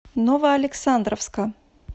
новоалександровска